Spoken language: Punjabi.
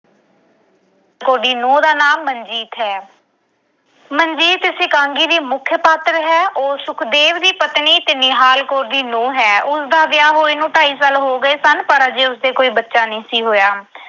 ਨੂੰਹ ਦਾ ਨਾਮ ਮਨਜੀਤ ਹੈ। ਮਨਜੀਤ ਇਸ ਇਕਾਂਗੀ ਦੀ ਮੁੱਖ ਪਾਤਰ ਹੈ। ਉਹ ਸੁਖਦੇਵ ਦੀ ਪਤਨੀ ਤੇ ਨਿਹਾਲ ਕੌਰ ਦੀ ਨੂੰਹ ਹੈ। ਉਸਦਾ ਵਿਆਹ ਹੋਏ ਨੂੰ ਢਾਈ ਸਾਲ ਹੋ ਗਏ ਸਨ, ਪਰ ਅਜੇ ਉਸ ਦੇ ਕੋਈ ਬੱਚਾ ਨਹੀਂ ਸੀ ਹੋਇਆ।